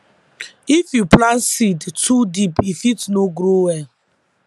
if you plant seed too deep e fit no grow well